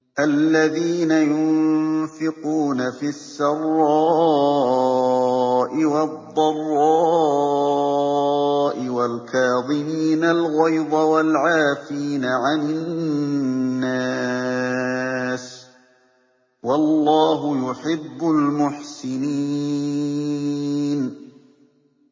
الَّذِينَ يُنفِقُونَ فِي السَّرَّاءِ وَالضَّرَّاءِ وَالْكَاظِمِينَ الْغَيْظَ وَالْعَافِينَ عَنِ النَّاسِ ۗ وَاللَّهُ يُحِبُّ الْمُحْسِنِينَ